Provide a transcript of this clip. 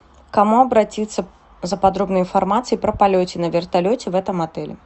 к кому обратиться за подробной информацией про полете на вертолете в этом отеле